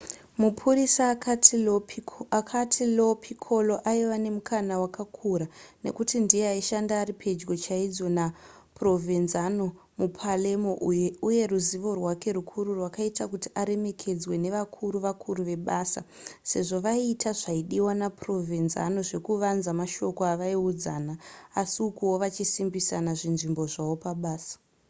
mapurisa akati lo piccolo aive nemukana wakakura nekuti ndiye aishanda ari pedyo chaizvo naprovenzano mupalermo uye ruzivo rwake rukuru rwakaita kuti aremekedzwe nevakuru vakuru vebasa sezvo vaiita zvaidiwa naprovenzano zvekuvanza mashoko avaiudzana asi ukuwo vachisimbisa zvinzvimbo zvavo pabasa